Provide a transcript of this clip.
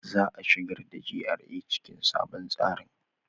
Za a shigar da GRA cikin sabon tsarin.